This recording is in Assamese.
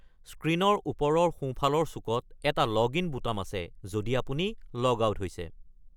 স্ক্ৰীণৰ ওপৰৰ সোঁফালৰ চুকত এটা লগইন বুটাম আছে, যদি আপুনি লগ আউট হৈছে।